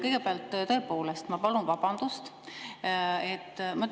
Kõigepealt, tõepoolest, ma palun vabandust.